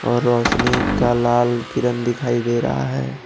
और रोशनी का लाल किरन दिखाई दे रहा है।